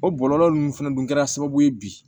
O bɔlɔlɔ ninnu fɛnɛ dun kɛra sababu ye bi